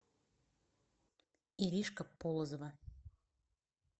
иришка полозова